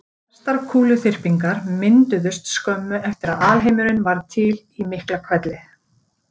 Flestar kúluþyrpingar mynduðust skömmu eftir að alheimurinn varð til í Miklahvelli.